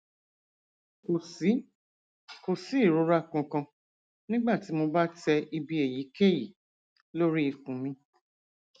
kò sí kò sí ìrora kankan nígbà tí mo bá tẹ ibi èyíkéyìí lórí ikùn mi